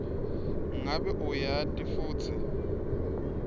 ngabe uyati futsi